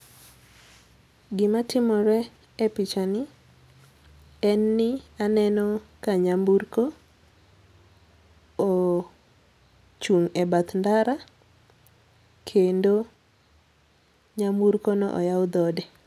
Gima timore e pichani en ni aneno ka nyamburko ochung' e bath ndara kendo nyamburko no oyaw dhode.